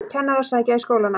Kennarar sækja í skólana